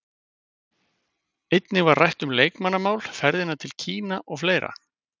Einnig var rætt um leikmannamál, ferðina til Kína og fleira.